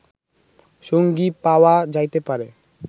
সঙ্গী পাওয়া যাইতে পারে